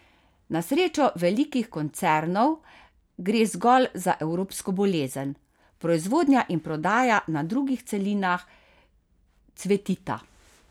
Na srečo velikih koncernov gre zgolj za evropsko bolezen, proizvodnja in prodaja na drugih celinah cvetita.